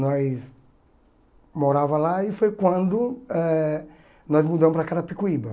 Nós morava lá e foi quando eh nós mudamos para Carapicuíba.